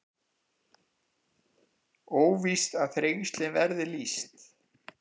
Óvíst að Þrengslin verði lýst